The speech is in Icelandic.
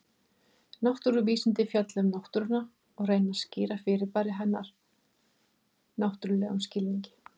Náttúruvísindi fjalla um náttúruna og reyna að skýra fyrirbæri hennar náttúrlegum skilningi.